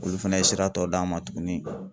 Olu fɛnɛ ye sira dɔ d'an ma tuguni